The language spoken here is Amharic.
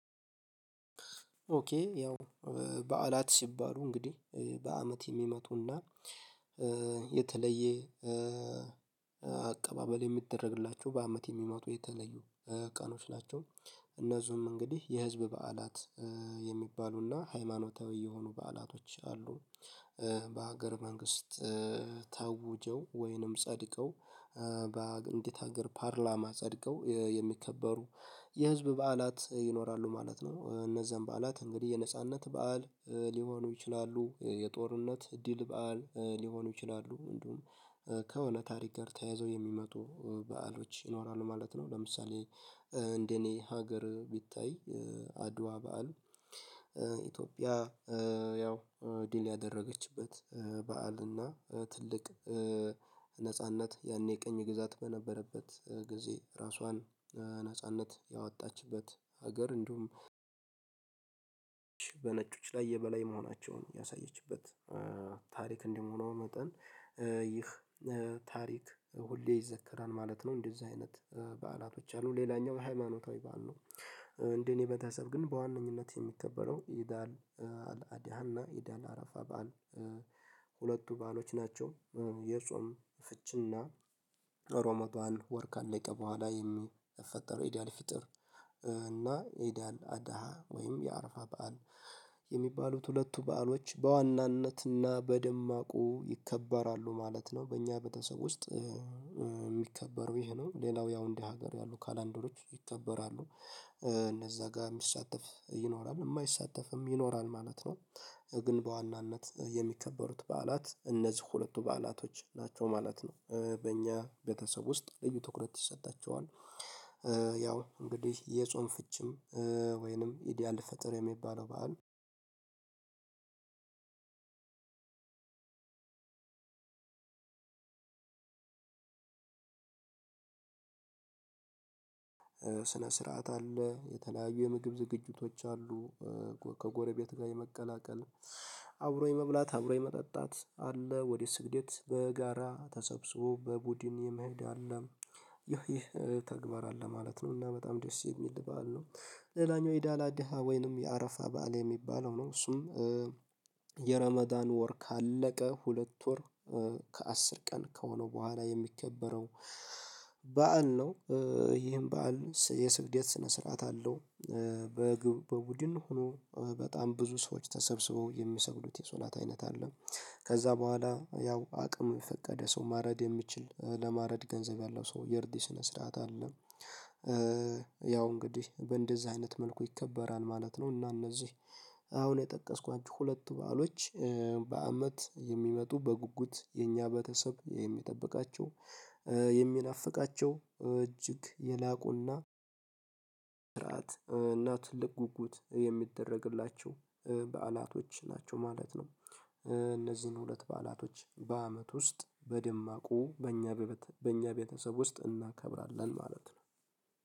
ኦኬ ያው በዓላት ሲባሉ እንግዲህ በአመት የሚመጡና የተለየ አቀባበል የሚደረግላቸው በአመት የሚመጡ የተለዩ ቀኖች ናቸው። እነዚህም እንግዲህ የህዝብ በዓላት የሚባሉና ሃይማኖታዊ የሆኑ በዓላቶች አሉ። በሀገር መንግስት ታውጀው ወይንም ጸድቀው ሀገር ፓርላማ ጸድቀው የሚከበሩ የህዝብ በዓላት ይኖራሉ ማለት ነው። እነዛን በዓላት እንግዲህ የነጻነት በዓል ሊሆኑ ይችላሉ፤ የጦርነት ድል በዓል ሊሆኑ ይችላሉ፤ እንዲሁም ከሆነ ታሪክ ጋር ተያዘው የሚመጡ በዓሎች ይኖራሉ ማለት ነው። ለምሳሌ እንደኔ ሀገር ቢታይ አድዋ በዓል ኢትዮጵያ ያው ድል ያደረገችበት በዓል እና ትልቅ ነጻነት ያኔ ቅኝ ግዛት በነበረበት ጊዜ ራሷን ነጻነት ያወጣችበት ሀገር እንዲሁም በነጮች ላይ የበላይ መሆናቸውን ያሳየችበት ታሪክ እንደመሆኑ መጠን ይህ ታሪክ ሁሌ ይዘከራል ማለት ነው እንደዚህ አይነት በዓላቶች አሉ። ሌላኛው ሃይማኖታዊ በዓል ነው። እንደኔ ቤተሰብ ግን በዋነኝነት የሚከበረው ኢድ አል አልአድሃና ኢድ አልአረፋ በዓል ሁለቱ በዓሎች ናቸው። የጾም ፍችና ረመዳን ወር ካለቀ በኋላ የሚፈጠረው ኤዲያል ፍጥር እና ኤዲያል አዳሃ ወይም የአረፋ በዓል የሚባሉት ሁለቱ በዓሎች በዋናነትና በደማቁ ይከበራሉ ማለት ነው በእኛ ቤተሰብ ውስጥ። የሚከበረው ይሄ ነው። ሌላው ያው እንደ ሀገር ያሉ ካላንደሮች ይከበራሉ። እነዛ ጋር የሚሳተፍ ይኖራል የማይሳተፍም ይኖራል ማለት ነው። ግን በዋናነት የሚከበሩት በዓላት እነዚህ ሁለቱ በዓላቶች ናቸው ማለት ነው። በእኛ ቤተሰብ ውስጥ ልዩ ትኩረት ይሰጣቸዋል። ያው እንግዲህ የጾም ፍቺም ወይንም ኢድ አልፈጥር የሚባለው በዓል ስነ ስርዓት አለ የተለያዩ የምግብ ዝግጅቶች አሉ። ከጎረቤት ጋር የመቀላቀል አብሮ የመብላት አብሮ የመጠጣት አለ ወደ ስግደት በጋራ ተሰብስቦ በቡድን የመሄድ አለ። ይህ ተግባር አለ ማለት ነው እና በጣም ደስ የሚል በዓል ነው። ሌላኛው ኢድ አልአደሃ ወይንም የአረፋ በዓል የሚባለው ነው እሱም የረመዳን ወር ካለቀ ሁለት ወር ከአስር ቀን ከሆነው በኋላ የሚከበረው በዓል ነው ይህም በዓል የስግደት ስነ ስርዓት አለው በቡድን ሆኖ በጣም ብዙ ሰዎች ተሰብስበው የሚሰብሉት የሶላት አይነት አለ ከዛ በኋላ ያው አቅሙ የፈቀደ ሰው ማረድ የሚችል ለማረድ ገንዘብ ያለው ሰው የእርድ ስነ ስርዓት አለ ያው እንግዲህ በእንደዚህ አይነት መልኩ ይከበራል ማለት ነው እና እነዚህ አሁን የጠቀስኳቸው ሁለቱ በዓሎች በአመት የሚመጡ በጉጉት የኛ በተሰብ የሚጠብቃቸው የሚናፍቃቸው እጅግ የላቁና ስርዓት እና ትልቅ ጉጉት የሚደረግላቸው በዓላቶች ናቸው ማለት ነው። እነዚህን ሁለት በዓላቶች በአመት ውስጥ በደማቁ በእኛ በእኛ ቤተሰብ ውስጥ እናከብራለን ማለት ነው።